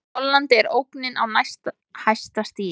Í Hollandi er ógnin á næst hæsta stigi.